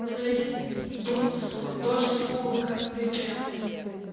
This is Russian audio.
на гляди тут он тоже смуглый как ты прям